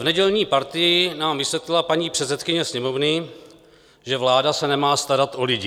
V nedělní Partii nám vysvětlila paní předsedkyně Sněmovny, že vláda se nemá starat o lidi.